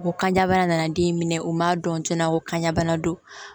Ko kanja bana nana den minɛ u ma dɔn tiɲɛna ko kanjabana don